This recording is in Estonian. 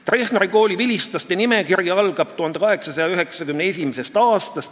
" Treffneri kooli vilistlaste nimekiri algab 1891. aastast.